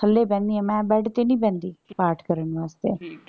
ਥੱਲੇ ਬਹਿਣੀ ਆਂ ਮੈਂ bed ਤੇ ਨਹੀਂ ਬਹਿੰਦੀ ਪਾਠ ਕਰਨ ਵਾਸਤੇ ਠੀਕ।